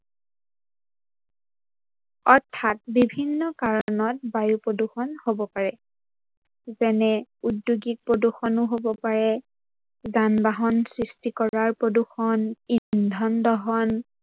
অৰ্থাৎ বিভিন্ন কাৰনত বায়ু প্ৰদূৰ্ষন হব পাৰে যেনে উদ্যোগিক প্ৰদূৰ্ষনো হব পাৰে, যান-বাহন সৃষ্টি কৰাৰ প্ৰদূৰ্ষন, ইন্ধন দহন